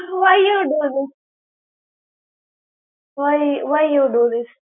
why you do this? । why why you do this? ।